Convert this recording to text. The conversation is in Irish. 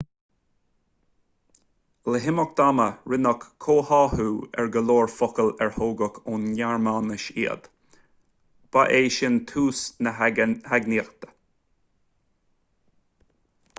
le himeacht ama rinneadh comhtháthú ar go leor focal ar tógadh ón ngearmáinis iad ba é sin tús na heagnaíochta